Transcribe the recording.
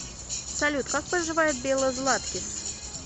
салют как поживает белла златкис